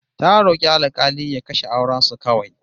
Ta rok'i alk'ali ya kashe auren su kawai